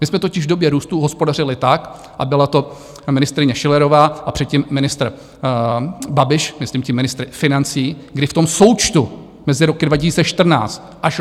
My jsme totiž v době růstu hospodařili tak, a byla to ministryně Schillerová a předtím ministr Babiš, myslím tím ministr financí, kdy v tom součtu mezi roky 2014 až roku 2019 nestoupl státní dluh.